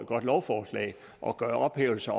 godt lovforslag at gøre ophævelser